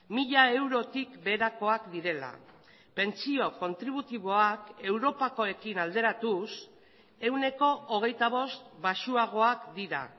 mila eurotik beherakoak direla pentsio kontributiboak europakoekin alderatuz ehuneko hogeita bost baxuagoak dira